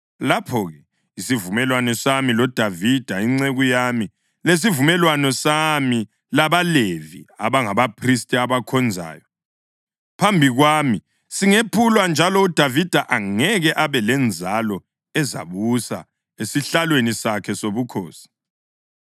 lapho-ke isivumelwano sami loDavida inceku yami lesivumelwano sami labaLevi abangabaphristi abakhonzayo phambi kwami singephulwa njalo uDavida angeke abe lenzalo ezabusa esihlalweni sakhe sobukhosi.